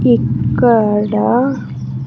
ఇక్కడ .